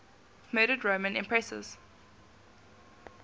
murdered roman empresses